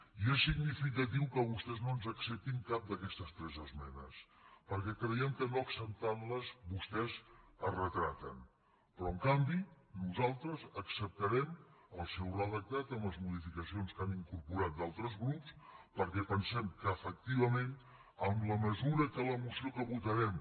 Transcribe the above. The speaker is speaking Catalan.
i és significatiu que vostès no ens acceptin cap d’aquestes tres esmenes perquè creiem que no acceptant les vostès es retraten però en canvi nosaltres acceptarem el seu redactat amb les modificacions que han incorporat d’altres grups perquè pensem que efectivament en la mesura que la moció que votarem